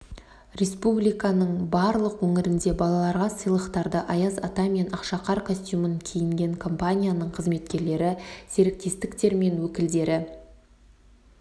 республиканың барлық өңірінде балаларға сыйлықтарды аяз ата мен ақшақар костюмін киінген компанияның қызметкерлері серіктестер мен өкілдері